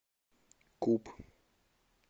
куб